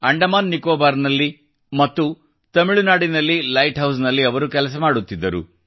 ಅಂಡಮಾನ್ ನಿಕೊಬಾರ್ನಲ್ಲಿ ಮತ್ತು ತಮಿಳುನಾಡಿನಲ್ಲಿ ಲೈಟ್ ಹೌಸ್ನಲ್ಲಿ ಅವರು ಕೆಲಸ ಮಾಡುತ್ತಿದ್ದರು